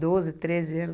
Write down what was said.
doze, treze anos.